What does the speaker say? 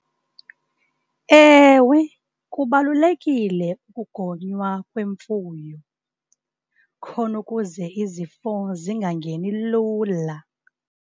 Ewe, kubalulekile ukugonywa kwemfuyo, khona ukuze izifo zingangeni lula.